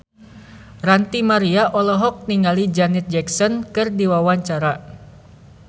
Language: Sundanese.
Ranty Maria olohok ningali Janet Jackson keur diwawancara